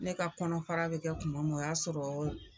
Ne ka kɔnɔfara bɛ kɛ kuma min o y'a sɔrɔ